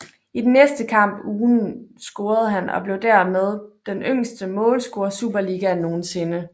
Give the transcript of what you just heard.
I den næste kamp ugen scorede han og blev derved den yngste målscorer Superligaen nogensinde